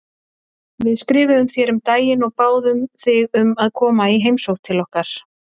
Við skrifuðum þér um daginn og báðum þig um að koma í heimsókn til okkar.